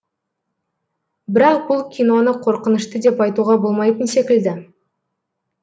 бірақ бұл киноны қорқынышты деп айтуға болмайтын секілді